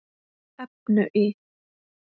efnu í